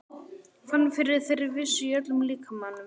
Fann fyrir þeirri vissu í öllum líkamanum.